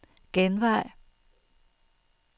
genvej